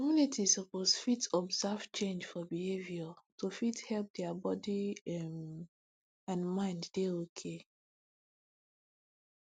communities suppose fit observe change for behavior to fit help dia body um n mind dey okay